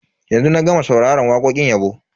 Yanzu na gama sauraron wakokin yabo.